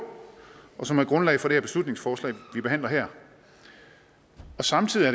og som er grundlaget for det beslutningsforslag vi behandler her samtidig